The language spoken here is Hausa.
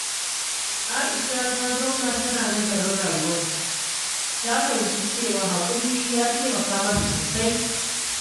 Aisha ta zauna tana nazarin rayuwarta, ta fahimci cewa haƙuri ya taimaka mata sosai.